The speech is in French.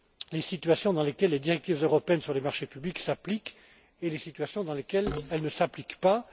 les situations dans lesquelles les directives européennes sur les marchés publics s'appliquent et celles dans lesquelles elles ne s'appliquent